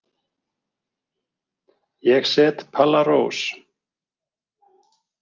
Ég set Palla Rós.